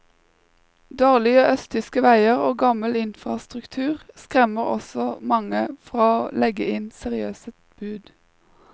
Dårlige østtyske veier og gammel infrastruktur skremmer også mange fra å legge inn seriøse bud.